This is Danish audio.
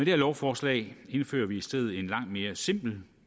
her lovforslag indfører vi i stedet et langt mere simpelt